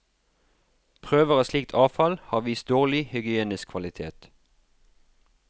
Prøver av slikt avfall har vist dårlig hygienisk kvalitet.